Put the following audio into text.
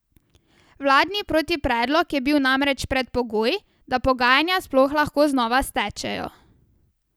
Vladni protipredlog je bil namreč predpogoj, da pogajanja sploh lahko znova stečejo.